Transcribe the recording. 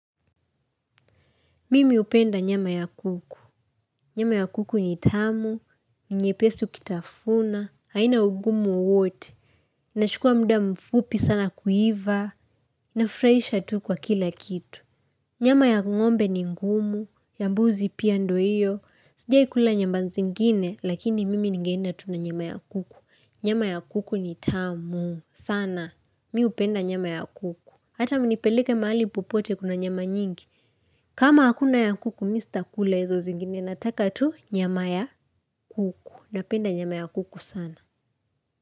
Mimi hupenda nyama ya kuku. Nyama ya kuku ni tamu. Ni nyepesi ukitafuna. Haina ugumu wote. Inachukuwa muda mfupi sana kuiva. Nafurahisha tu kwa kila kitu. Nyama ya ngombe ni ngumu. Ya mbuzi pia ndio hiyo. Sijai kula nyamba zingine lakini mimi ningeenda tu na nyama ya kuku. Nyama ya kuku ni tamu. Sana. Mimi hupenda nyama ya kuku. Hata mnipeleke mahali popote kuna nyama nyingi kama hakuna ya kuku mimi sitakula hizo zingine. Nataka tu nyama ya kuku. Napenda nyama ya kuku sana.